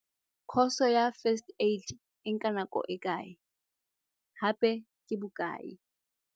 Course-o ya First Aid e nka nako e kae? Hape ke bokae?